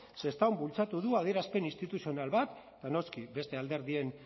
sestaon bultzatu du adierazpen instituzional bat eta noski beste alderdien